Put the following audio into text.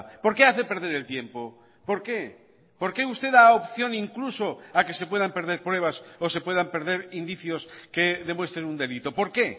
por qué hace perder el tiempo por qué por qué usted da opción incluso a que se puedan perder pruebas o se puedan perder indicios que demuestren un delito por qué